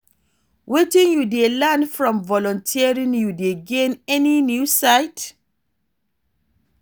Wetin you dey learn from volunteering, you dey gain any new insight?